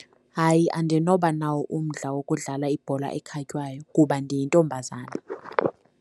Hayi, andinoba nawo umdla wokudlala ibhola ekhatywayo kuba ndiyintombazana.